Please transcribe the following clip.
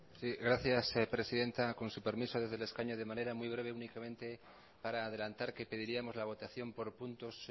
sí gracias presidenta con su permiso desde el escaño de manera muy breve únicamente para adelantar que pediríamos la votación por puntos